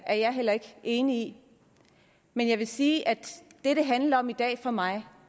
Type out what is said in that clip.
er jeg heller ikke enig i men jeg vil sige at det det handler om i dag for mig